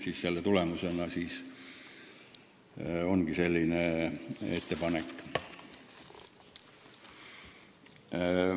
Selle tõttu ongi selline ettepanek.